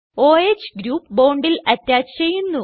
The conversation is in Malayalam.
o ഹ് ഗ്രൂപ്പ് bondൽ അറ്റാച്ച് ചെയ്യുന്നു